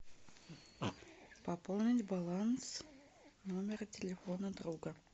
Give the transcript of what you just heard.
пополнить баланс номера телефона друга